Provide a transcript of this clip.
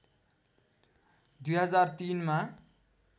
२००३ मा